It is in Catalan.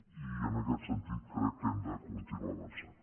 i en aquest sentit crec que hem de continuar avançant